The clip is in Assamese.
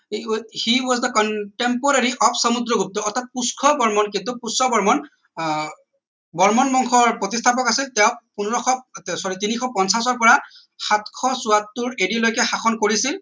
he was the contemporary of Samudragupta অৰ্থাৎ পুষ্য বৰ্মন কিন্তু পুষ্য বৰ্মন আহ বৰ্মন বংশৰ প্ৰতিস্থাপক আছিল তেওঁ পোন্ধৰশ sorry তিনিশ পঞ্চাছৰ পৰা সাতশ চৌসত্তৰ ad লৈকে শাসন কৰিছিল